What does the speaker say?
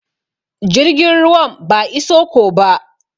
Jirgin ruwan ba iso ko ba.